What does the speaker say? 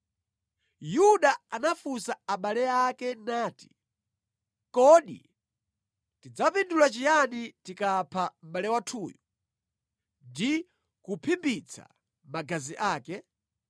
Yuda anafunsa abale ake nati, “Kodi tidzapindula chiyani tikapha mʼbale wathuyu ndi kuphimbitsa magazi ake?